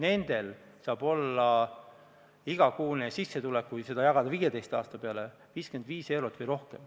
Nendel saab olla igakuine lisanduv sissetulek, kui see jagada 15 aasta peale, 55 eurot või rohkem.